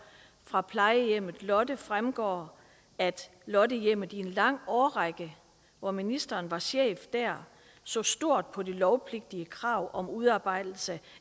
fra plejehjemmet lotte fremgår at lottehjemmet i en lang årrække hvor ministeren var chef der så stort på det lovpligtige krav om udarbejdelse